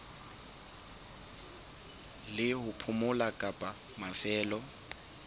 la ho phomola kapa mafelo